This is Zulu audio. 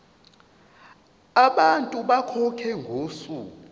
abantu bakhokhe ngosuku